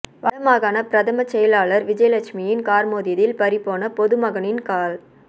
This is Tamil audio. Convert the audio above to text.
வடமாகாண பிரதம செயலாளர் விஜயலட்சுமியின் கார் மோதியதில் பறி போன பொதுமகனின் கால்